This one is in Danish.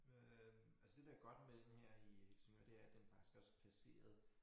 Øh altså det der godt med den her i Helsingør det er at den faktisk også er placeret